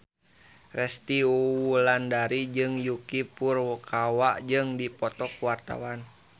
Resty Wulandari jeung Yuki Furukawa keur dipoto ku wartawan